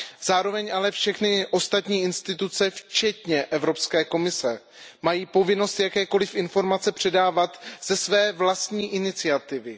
Zároveň ale všechny ostatní instituce včetně Evropské komise mají povinnost jakékoliv informace předávat ze své vlastní iniciativy.